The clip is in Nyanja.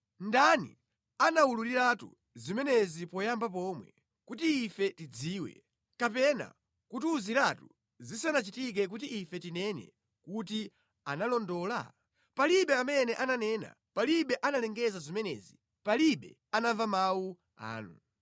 Ndani anawululiratu zimenezi poyamba pomwe, kuti ife tidziwe, kapena kutiwuziratu zisanachitike kuti ife tinene kuti, ‘Analondola?’ Palibe amene ananena, palibe analengeza zimenezi, palibe anamva mawu anu.